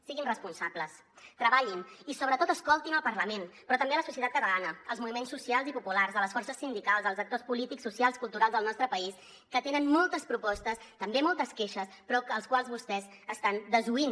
siguin responsables treballin i sobretot escoltin el parlament però també la societat catalana els moviments socials i populars les forces sindicals els actors polítics socials culturals del nostre país que tenen moltes propostes també moltes queixes però als quals vostès estan desoint